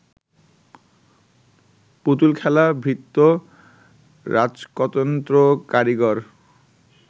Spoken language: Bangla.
পুতুলখেলা, ভৃত্য রাজকতন্ত্র, কারীগর